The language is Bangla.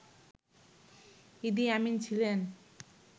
ইদি আমিন ছিলেন